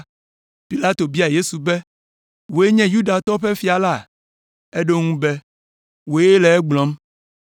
Pilato bia Yesu be, “Wòe nye Yudatɔwo ƒe fia la?” Eɖo eŋu be, “Wòe le egblɔm.”